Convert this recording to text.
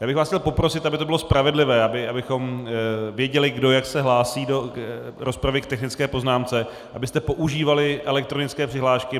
Já bych vás chtěl poprosit, aby to bylo spravedlivé, abychom věděli, kdo jak se hlásí do rozpravy k technické poznámce, abyste používali elektronické přihlášky.